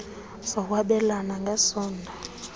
zokwabelana ng esondo